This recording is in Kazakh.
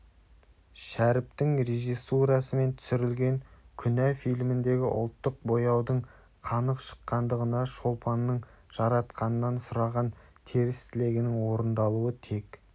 шәріптің режиссурасымен түсірілген күнә фильміндегі ұлттық бояудың қанық шыққандығына шолпанның жаратқаннан сұраған теріс тілегінің орындалуы тек